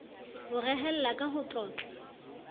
ho rehella ka ho tlotla